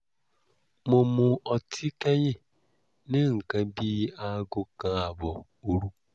mo mu ọtí kẹ́yìn ní nǹkan bí aago kan ààbọ̀ òru